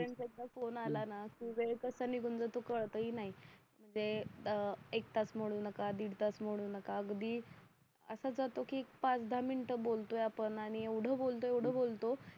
त्यांच्यातन phone आला ना की वेळ कसा निघून जातो कळत ही नाही म्हणजे अह एक तास म्हणू नका दीड तास म्हणू नका अगदी असा जातो की एक पाच दहा मिनटं बोलतोय आपण आणि एवढं बोलतो एवढं